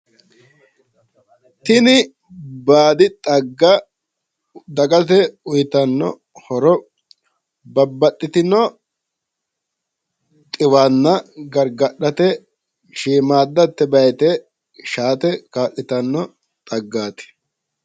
Tini baadi xagga dagate uuyitanno horo babbaxitino xiwanna gargadhate shiimmaadda tebaa"iite shaate kaa'litanno xaggaati.